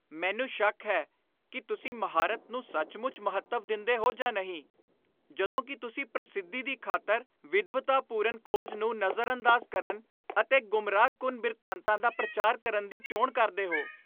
ਮੈਨੂੰ ਸ਼ੱਕ ਹੈ ਕਿ ਤੁਸੀਂ ਮਹਾਰਤ ਨੂੰ ਸੱਚਮੁੱਚ ਮਹੱਤਵ ਦਿੰਦੇ ਹੋ ਜਾਂ ਨਹੀਂ ਜਦੋਂ ਕਿ ਤੁਸੀਂ ਪ੍ਰਸਿੱਧੀ ਦੀ ਖ਼ਾਤਰ ਵਿਦਵਤਾਪੂਰਨ ਖੋਜ ਨੂੰ ਨਜ਼ਰਅੰਦਾਜ਼ ਕਰਨ ਅਤੇ ਗੁੰਮਰਾਹਕੁੰਨ ਬਿਰਤਾਂਤਾਂ ਦਾ ਪ੍ਰਚਾਰ ਕਰਨ ਦੀ ਚੋਣ ਕਰਦੇ ਹੋ।